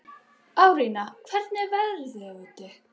Árnína, hvernig er veðrið úti?